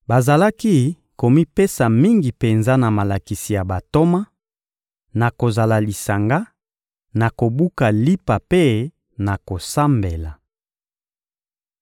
Bazalaki komipesa mingi penza na malakisi ya bantoma, na kozala lisanga, na kobuka lipa mpe na kosambela.